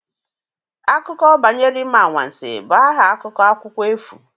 Akụkọ banyere Ime Anwansi' bụ aha akwụkwọ akụkọ efu